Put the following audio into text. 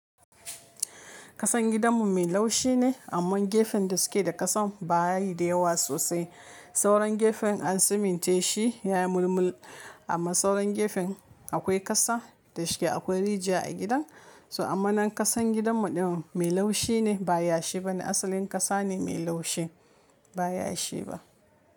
Kasan gidanmu mai laushi ne amma gefen da suke da kasan baya yi da yawa sosai. Sauran gefen an suminte shi ya yi mulmul amma sauran gefen akwai kasa da shike akwai rijiya a gidan. To amma nan kasan gidanmu din mai laushi ne ba yashi bane asalin kasa ne mai laushi ba yashi ba.